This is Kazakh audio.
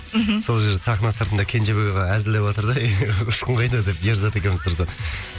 мхм сол жерде сахна сыртында кенжебек аға әзілдеватыр да ұшқын қайда деп ерзат екеуміз тұрсақ